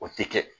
O tɛ kɛ